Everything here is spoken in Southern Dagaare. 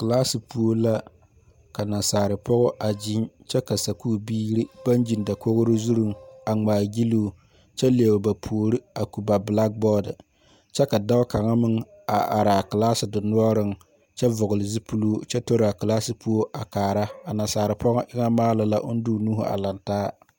Kilaasi puo la ka naasaarpɔga a gyiŋ kyɛ ka sakuuri biiri ba gyiŋ dakogro zuriŋ a ŋmaa gyilloo kyɛ lɛo ba puori a ko ba belagbɔɔde kyɛ ka dɔɔ kaŋa meŋ a araa kilaasi denoɔreŋ kyɛ vɔgle zupiluu kyɛ toraa a kilaasi puo a kaara a nasaarpɔga eŋɛ maara la oŋ de o nuuhu a laŋ taa.